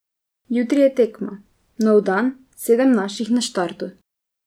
Jutri je tekma, nov dan, sedem naših na štartu.